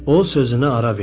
O sözünə ara verdi.